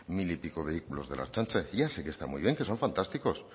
mil y pico vehículos de la ertzaintza ya sé que están muy bien que son fantásticos